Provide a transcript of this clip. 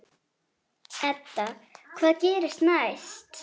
Edda: Hvað gerist næst?